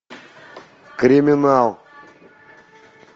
криминал